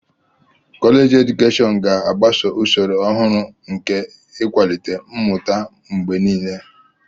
Kọleji edukeshọn ga-agbaso usoro ọhụrụ nke ịkwalite mmụta mgbe niile.